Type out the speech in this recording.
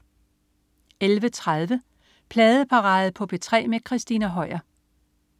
11.30 Pladeparade på P3 med Christina Høier